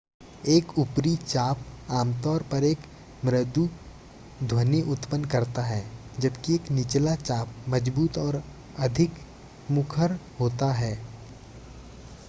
एक ऊपरी-चाप आमतौर पर एक मृदु ध्वनि उत्पन्न करता है जबकि एक निचला-चाप मजबूत और अधिक मुखर होता है